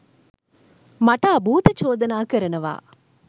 මට අභූත චෝදනා කරනවා